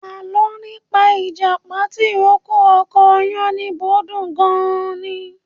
Alọ́ nípa ìjàpá tìrókò ọkọ Yánníbo dùn gan-an ni.